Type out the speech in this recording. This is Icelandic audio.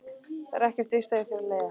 Það er ekkert víst að ég þurfi að leigja.